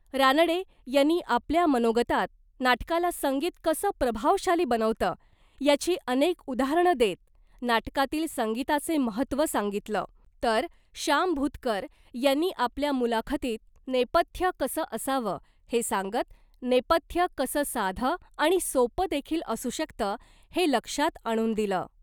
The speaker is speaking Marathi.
रानडे यांनी आपल्या मनोगतात नाटकाला संगीत कसं प्रभावशाली बनवतं याची अनेक उदाहरणं देत नाटकातील संगीताचे महत्त्व सांगितलं, तर शाम भुतकर यांनी आपल्या मुलाखतीत नेपथ्य कसं असावं , हे सांगत नेपथ्य कसं साधं आणि सोपं देखील असू शकतं , हे लक्षात आणून दिलं .